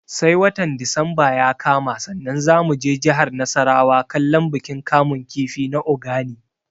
Sai watan disamba ya kama sannan za mu je jihar nasarawa kallon bikin kamun kifi na Ogani